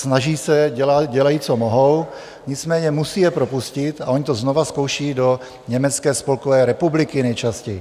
Snaží se, dělají, co mohou, nicméně musí je propustit a oni to znovu zkouší, do Německé spolkové republiky nejčastěji.